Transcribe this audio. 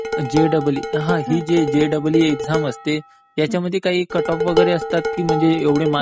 JEE, हा ही जी जेईई एक्साम असते, त्यामध्ये काही कट ऑफ वगैरे असतात की म्हणजे एवढे